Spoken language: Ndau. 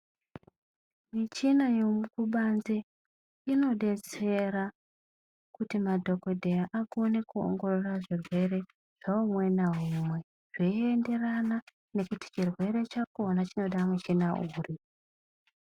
Michina yekubanze inodetsera kuti madhokotera akone kuyayiya zvirwere zveumwe naumwe zveyi yenderana kuti chirwere chakona chinoda michina uri.